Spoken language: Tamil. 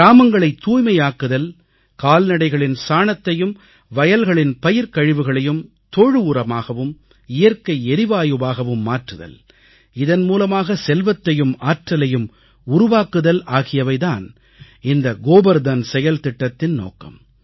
கிராமங்களைத் தூய்மையாக்குதல் கால்நடைகளின் சாணத்தையும் வயல்களின் பயிர்க்கழிவுகளையும் தொழு உரமாகவும் இயற்கை எரிவாயுவாகவும் மாற்றுதல் இதன் மூலமாக செல்வத்தையும் ஆற்றலையும் உருவாக்குதல் ஆகியவை தான் இந்த கோபர்தன் செயல்திட்டத்தின் நோக்கம்